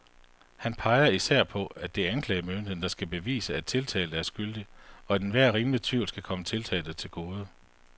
Han peger især på, at det er anklagemyndigheden, der skal bevise, at tiltalte er skyldig, og at enhver rimelig tvivl skal komme tiltalte til gode.